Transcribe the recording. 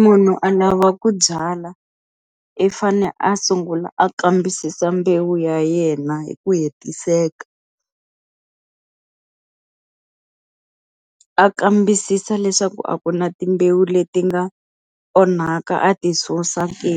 munhu a lava ku byala i fane a sungula a kambisisa mbewu ya yena hi ku hetiseka a kambisisa leswaku a ku na timbewu leti nga onhaka a ti susa ke.